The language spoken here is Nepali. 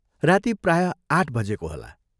राती प्राय आठ बजेको होला।